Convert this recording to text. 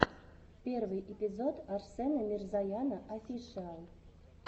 первый эпизод арсена мирзояна офишиал